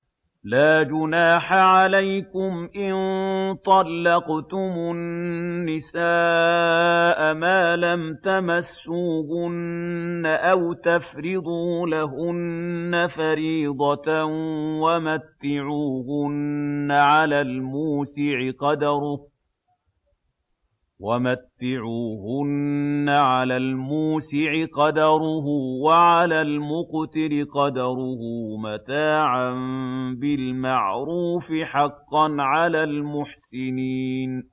لَّا جُنَاحَ عَلَيْكُمْ إِن طَلَّقْتُمُ النِّسَاءَ مَا لَمْ تَمَسُّوهُنَّ أَوْ تَفْرِضُوا لَهُنَّ فَرِيضَةً ۚ وَمَتِّعُوهُنَّ عَلَى الْمُوسِعِ قَدَرُهُ وَعَلَى الْمُقْتِرِ قَدَرُهُ مَتَاعًا بِالْمَعْرُوفِ ۖ حَقًّا عَلَى الْمُحْسِنِينَ